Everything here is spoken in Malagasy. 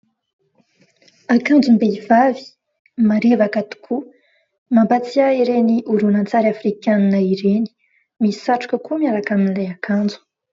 Akanjom-behivavy marevaka tokoa mampahatsiahy ireny horonan-tsary afrikanina ireny. misy satroka koa miaraka amin'ilay akanjo.